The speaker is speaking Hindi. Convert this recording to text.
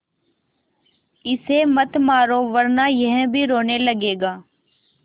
इसे मत मारो वरना यह भी रोने लगेगा